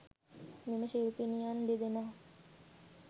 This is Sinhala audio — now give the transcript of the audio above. මෙම ශිල්පිනියන් දෙදෙනා